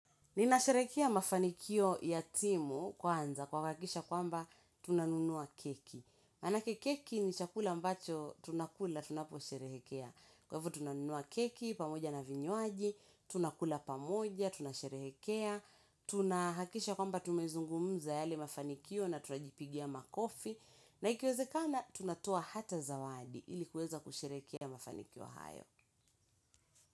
Ninasherehekea mafanikio ya timu kwanza kwa kuhakisha kwamba tunanunua keki. Manake keki ni chakula ambacho tunakula tunapo sherehekea. Kwa hivo tunanunua keki pamoja na vinywaji tunakula pamoja tunasherehekea tunahakisha kwamba tumezungumza yale mafanikio na tunajipigia makofi na ikiwezekana tunatoa hata zawadi ili kuweza kusherehekea mafanikio hayo.